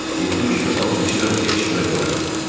Hindu kimi and içirəm ki, heç kimə demərəm.